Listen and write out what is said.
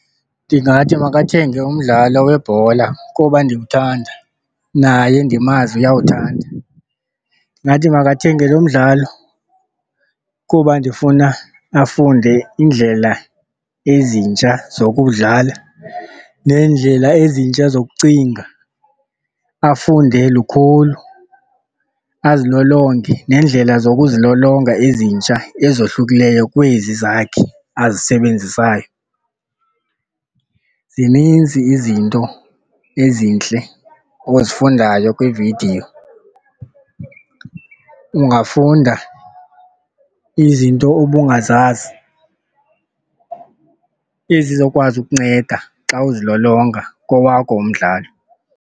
Ndingathi makathenge umdlalo webhola kuba ndiwuthanda naye ndimazi uyawuthanda. Ndingathi makathenge lo mdlalo kuba ndifuna afunde iindlela ezintsha zokuwudlala neendlela ezintsha zokucinga, afunde lukhulu, azilolonge neendlela zokuzilolonga ezintsha ezohlukileyo kwezi zakhe azisebenzisayo. Zininzi izinto ezintle ozifundayo kwiividiyo, ungafunda izinto obungazazi ezizokwazi ukunceda xa uzilolonga kowakho umdlalo.